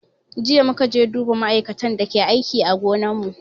Jiya muka je duba ma'aikatan da ke aiki a gonan mu